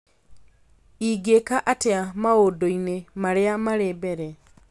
ingĩka atĩa maũndũ-inĩ marĩa marĩ mbere